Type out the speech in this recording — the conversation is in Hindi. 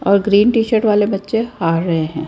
और ग्रीन टी शर्ट वाले बच्चे हार रहे हैं।